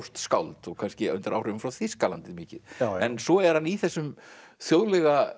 skáld og kannski undir áhrifum frá Þýskalandi mikið en svo er hann í þessum þjóðlegu